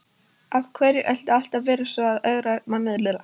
Af hverju er alltaf verið að ögra manni svona?